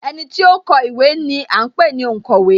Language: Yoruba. Ẹniti ó ń kọ ìwé ni à ń pè ní onkowe